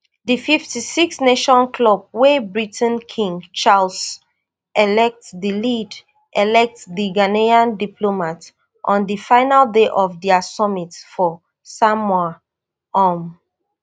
di fifty-sixnation club wey britain king charles elect dey lead elect di ghanian diplomat on di final day of dia summit for samoa um